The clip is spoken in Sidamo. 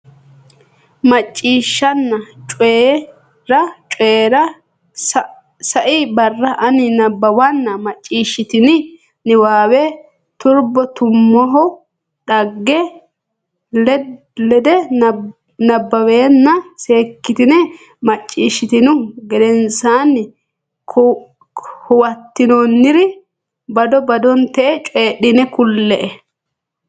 Macciishshanna Coyi ra Coyi ra Sai barra ani nabbawanna macciishshitini niwaawe Turbo Tummohu dhagge lede nabbawanna seekkitine macciishshitinihu gedensaanni huwattinoonnire bado badotenni coyidhine kulle.